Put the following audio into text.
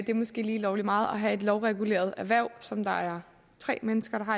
det er måske lige lovlig meget at have et lovreguleret erhverv som der er tre mennesker